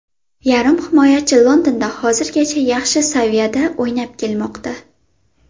Yarim himoyachi Londonda hozirgacha yaxshi saviyada o‘ynab kelmoqda.